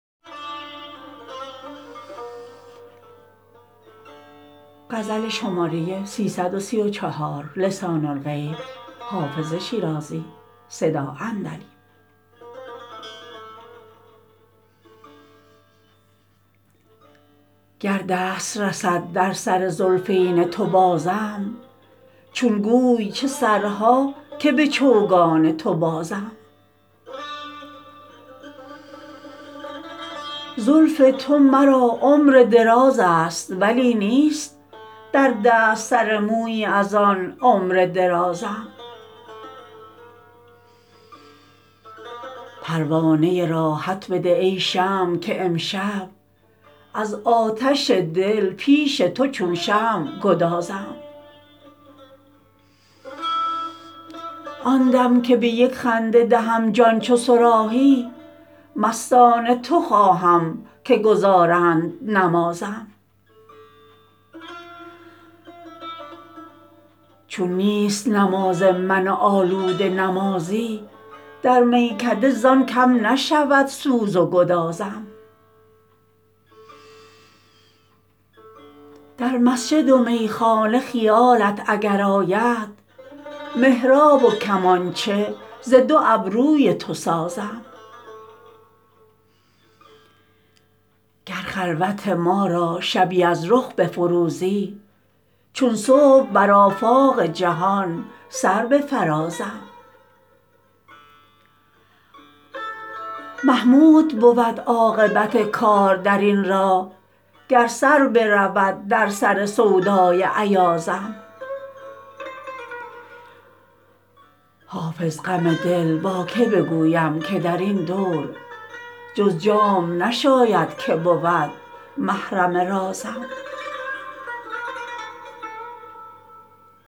گر دست رسد در سر زلفین تو بازم چون گوی چه سرها که به چوگان تو بازم زلف تو مرا عمر دراز است ولی نیست در دست سر مویی از آن عمر درازم پروانه راحت بده ای شمع که امشب از آتش دل پیش تو چون شمع گدازم آن دم که به یک خنده دهم جان چو صراحی مستان تو خواهم که گزارند نمازم چون نیست نماز من آلوده نمازی در میکده زان کم نشود سوز و گدازم در مسجد و میخانه خیالت اگر آید محراب و کمانچه ز دو ابروی تو سازم گر خلوت ما را شبی از رخ بفروزی چون صبح بر آفاق جهان سر بفرازم محمود بود عاقبت کار در این راه گر سر برود در سر سودای ایازم حافظ غم دل با که بگویم که در این دور جز جام نشاید که بود محرم رازم